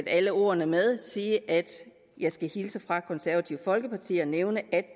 alle ordene med sige at jeg skal hilse fra konservative folkeparti og nævne at